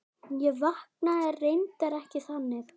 En vaknaði reyndar ekki þannig.